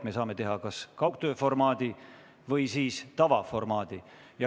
Me saame kasutada kas kaugtööformaati või tavaformaati.